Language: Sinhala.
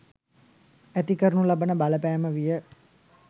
ඇති කරනු ලබන බලපෑම විය.